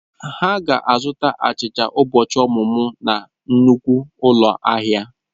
Ha ga-azụta achicha ụbọchị ọmụmụ na nnukwu ụlọ ahịa.